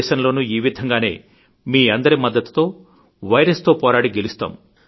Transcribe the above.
దేశంలోనూ ఈ విధంగానే మీ అందరి మద్దతుతో వైరస్ తో పోరాడి గెలుస్తాం